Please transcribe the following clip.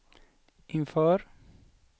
inför